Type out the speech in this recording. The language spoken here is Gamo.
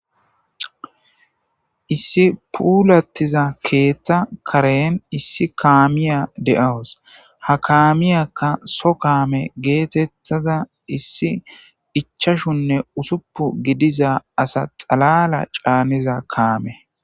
issi puulattiza keeththa karen issi kaamiya de7awus ha kaamiyakka so kaame geetettada issi ichashunne usuppu gidiza asa xalala caaniza kaame